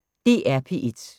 DR P1